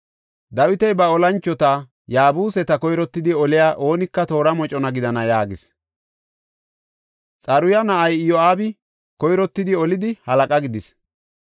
Dawiti ba olanchota, “Yaabuseta koyrottidi oliya oonika toora mocona gidana” yaagis. Xaruya na7ay Iyo7aabi koyrottidi olidi halaqa gidis.